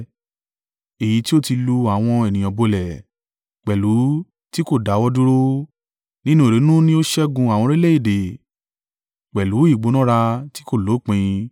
èyí tí ó ti lu àwọn ènìyàn bolẹ̀ pẹ̀lú ti kò dáwọ́ dúró, nínú ìrunú ni ó ṣẹ́gun àwọn orílẹ̀-èdè pẹ̀lú ìgbónára tí kò lópin.